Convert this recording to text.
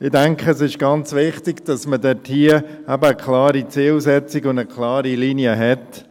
Ich denke, es ist ganz wichtig, dass man dort eine klare Zielsetzung und eine klare Linie hat.